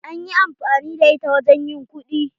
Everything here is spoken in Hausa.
An yi amfani da ita wajen ƴin kuɗi.